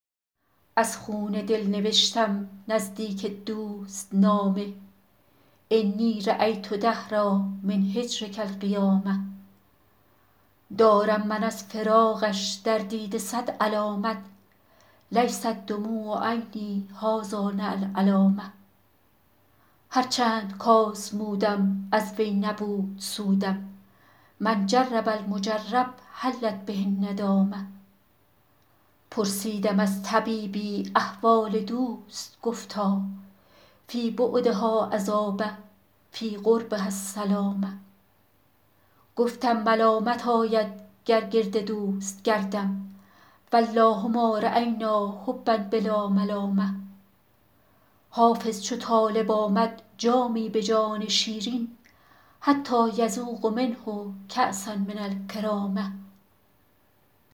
از خون دل نوشتم نزدیک دوست نامه انی رأیت دهرا من هجرک القیامه دارم من از فراقش در دیده صد علامت لیست دموع عینی هٰذا لنا العلامه هر چند کآزمودم از وی نبود سودم من جرب المجرب حلت به الندامه پرسیدم از طبیبی احوال دوست گفتا فی بعدها عذاب فی قربها السلامه گفتم ملامت آید گر گرد دوست گردم و الله ما رأینا حبا بلا ملامه حافظ چو طالب آمد جامی به جان شیرین حتیٰ یذوق منه کأسا من الکرامه